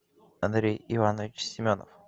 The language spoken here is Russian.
андрей иванович семенов